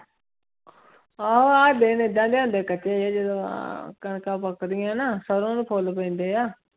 ਆਹੋ ਆਹ ਦਿਨ ਏਦਾਂ ਦੇ ਆਉਂਦੇ ਕੱਚੇ ਜਿਹੇ ਜਦੋਂ ਆਹ ਕਣਕਾਂ ਪੱਕਦੀਆਂ ਨਾ ਸਰੋਂ ਨੂੰ ਫੁੱਲ ਪੈਂਦੇ ਆ।